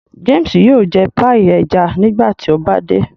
James yóò jẹ paii ẹja nígbàtí o ba dé.